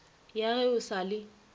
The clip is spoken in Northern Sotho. ya ge o sa le